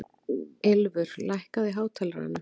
Ylfur, lækkaðu í hátalaranum.